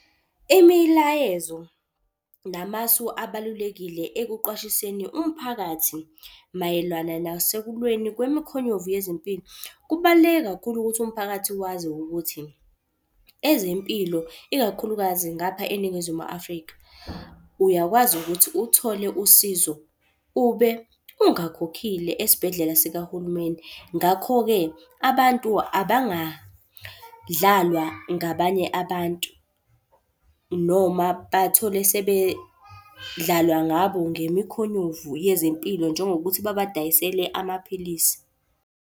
Imilayezo namasu abalulekile ekuqwashiseni umphakathi mayelana nasekulweni kwemikhonyovu yezempilo. Kubaluleke kakhulu ukuthi umphakathi wazi ukuthi ezempilo, ikakhulukazi ngapha eNingizimu Afrika, uyakwazi ukuthi uthole usizo ube ungakhokhile esibhedlela sikahulumeni. Ngakho-ke abantu abangadlalwa ngabanye abantu, noma bathole sebedlalwa ngabo ngemikhonyovu yezempilo njengokuthi babadayisele amaphilisi.